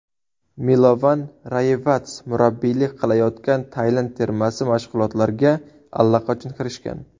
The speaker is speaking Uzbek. Milovan Rayevats murabbiylik qilayotgan Tailand termasi mashg‘ulotlarga allaqachon kirishgan.